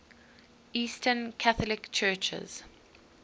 eastern catholic churches